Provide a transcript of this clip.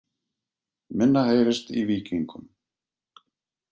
Minna heyrist í Víkingum